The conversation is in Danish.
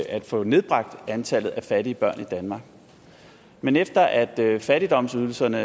at få nedbragt antallet af fattige børn i danmark men efter at at fattigdomsydelserne